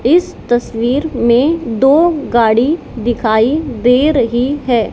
इस तस्वीर में दो गाड़ी दिखाई दे रही है।